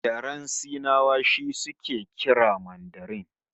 Yaren Sinawa shi suke kira Mandarin